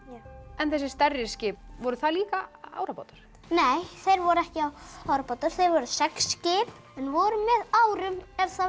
en þessi stærri skip voru það líka árabátar nei þau voru ekki árabátar þau voru seglskip en voru með árum ef það